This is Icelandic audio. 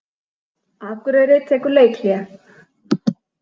Akureyri tekur leikhlé